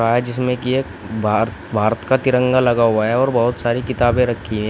आज इसमें की एक भारत भारत का तिरंगा लगा हुआ है और बहोत सारी किताबें रखी हैं।